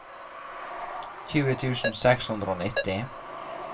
tjue tusen seks hundre og nitti